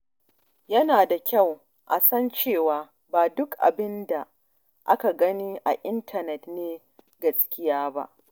Yana da kyau a san cewa ba duk abin da ake gani a intanet ne gaskiya ba.